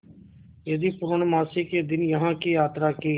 यदि पूर्णमासी के दिन यहाँ की यात्रा की